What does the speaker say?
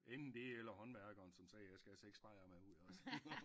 Enten det eller håndværkeren som sagde jeg skal have 6 bajer med ud